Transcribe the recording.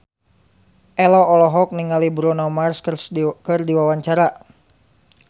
Ello olohok ningali Bruno Mars keur diwawancara